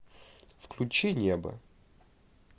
включи небо